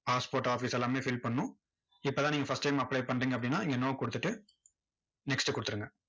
passport office எல்லாமே fill பண்ணணும். இப்போ தான் நீங்க first time apply பண்றீங்க அப்படின்னா, இங்க no கொடுத்துட்டு, next கொடுத்துருங்க.